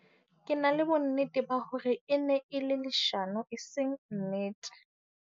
Ke na le bonnete ba hore e ne e le leshano e seng nnete.